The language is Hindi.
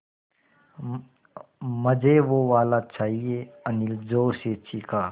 मझे वो वाला चाहिए अनिल ज़ोर से चीख़ा